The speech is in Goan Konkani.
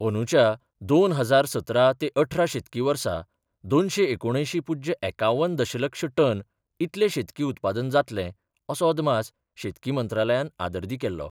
अंदूच्या दोन हजार सतरा ते अठरा शेतकी वर्सा दोनशे एकुण अयशी पुज्य एकावन्न दशलक्ष टन इतले शेतकी उत्पादन जातलें असो अदमास शेतकी मंत्रालयान आदर्दी केल्लो.